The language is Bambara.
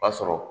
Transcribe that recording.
O b'a sɔrɔ